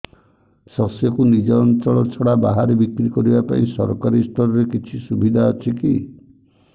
ଶସ୍ୟକୁ ନିଜ ଅଞ୍ଚଳ ଛଡା ବାହାରେ ବିକ୍ରି କରିବା ପାଇଁ ସରକାରୀ ସ୍ତରରେ କିଛି ସୁବିଧା ଅଛି କି